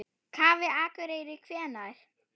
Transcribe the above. Kaffi Akureyri Hvenær?